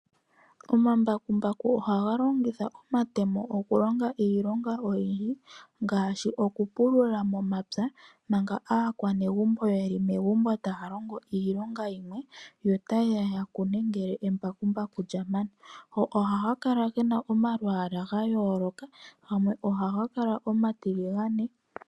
Omambakumbaku ohaga longitha omatemo okulonga iilonga oyindji ngaashi okupulula momapya manga aakwanegumbo yeli megumbo taa longo iilonga yimwe. Yo taye ya ya kune ngele embakumbaku lya mana. Ohaga kala gena omalwaala ga yoooloka gamwe ohaga kala omatiligane.